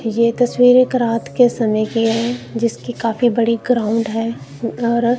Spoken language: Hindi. ये तस्वीर एक रात के समय की है जिसकी काफी बड़ी ग्राउंड है और--